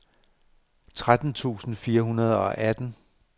tretten tusind fire hundrede og atten